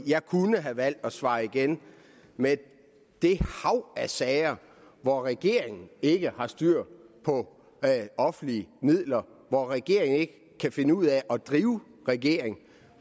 jeg kunne have valgt at svare igen med det hav af sager hvor regeringen ikke har styr på offentlige midler hvor regeringen ikke kan finde ud af at drive en regering